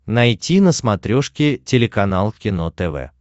найти на смотрешке телеканал кино тв